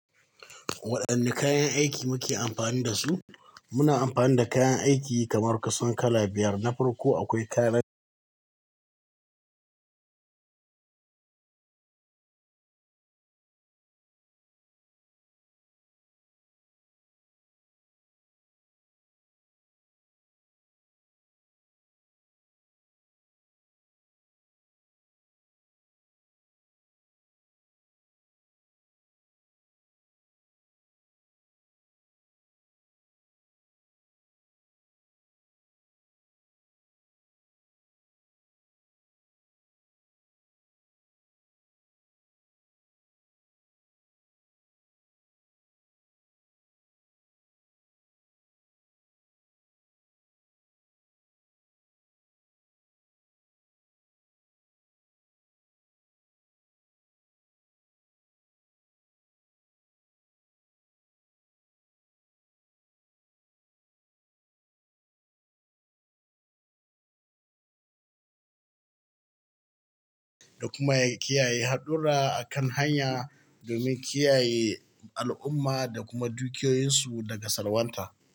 Waɗanne kayan aiki muke amfani da su? Muna amfani da kayan aiki kamar kasan kala biyar na farko, akwai kala, da kuma kiyaye haɗura akan hanya domin kiyaye al'umma da kuma dukiyoyinsu daga salwanta.